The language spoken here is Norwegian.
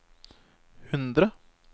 hundre